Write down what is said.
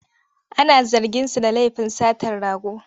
Ana zarginsa da lafin satar rago.